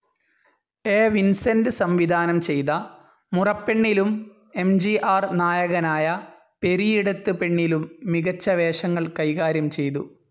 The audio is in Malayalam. എ. വിൻസെന്റ് സംവിധാനംചെയ്ത മുറപ്പെണ്ണിലും എം.ജി.ആർ. നായകനായ പെരിയിടത്ത് പെണ്ണിലും മികച്ച വേഷങ്ങൾ കൈകാര്യം ചെയ്തു.